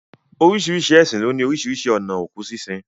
Oríṣiríṣi ẹ̀sìn ló ní oríṣiríṣi ònà òkú sínsin.